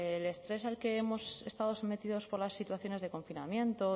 el estrés al que hemos estado sometidos por las situaciones de confinamiento